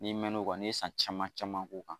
N'i mɛn n'o kan n'i ye san caman caman k'o kan